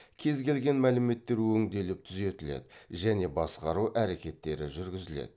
кез келген мәліметтер өңделіп түзетіледі және басқару әрекеттері жүргізіледі